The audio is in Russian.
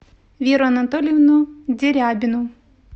веру анатольевну дерябину